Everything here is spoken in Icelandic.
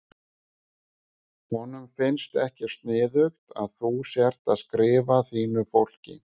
Honum finnst ekki sniðugt að þú sért að skrifa þínu fólki.